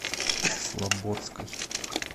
слободской